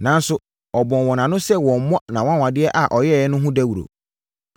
Nanso, ɔbɔɔ wɔn ano sɛ wɔmmmɔ nʼanwanwadeɛ a ɔyɛeɛ no ho dawuro.